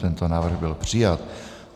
Tento návrh byl přijat.